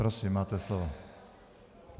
Prosím, máte slovo.